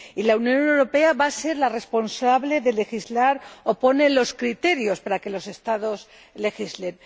la Unión Europea va a ser la responsable de legislar o de disponer los criterios para que los Estados legislen.